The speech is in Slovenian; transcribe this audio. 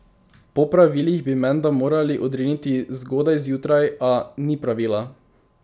Po pravilih bi menda morali odriniti zgodaj zjutraj, a: 'Ni pravila!